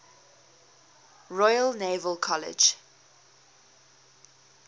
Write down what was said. royal naval college